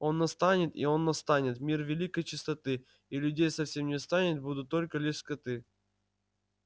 он настанет и он настанет мир великой чистоты и людей совсем не станет будут только лишь скоты